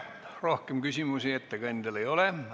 Rohkem küsimusi ettekandjale ei ole.